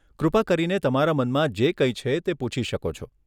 કૃપા કરીને તમારા મનમાં જે કંઈ છે તે પૂછી શકો છો.